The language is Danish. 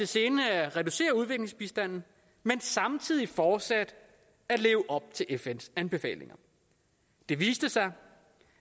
sinde at reducere udviklingsbistanden men samtidig fortsat at leve op til fns anbefalinger det viste sig